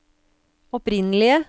opprinnelige